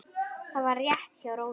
Það var rétt hjá Rósu.